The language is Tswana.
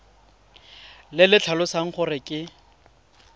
le le tlhalosang gore ke